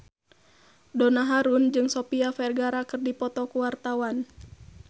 Donna Harun jeung Sofia Vergara keur dipoto ku wartawan